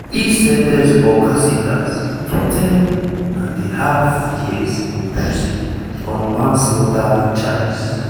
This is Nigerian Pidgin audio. e sen ten ce horcasitas to 10-and-a-half years in prison on manslaughter charges.